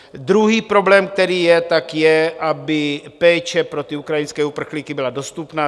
Druhý problém, který je, tak je, aby péče pro ty ukrajinské uprchlíky byla dostupná.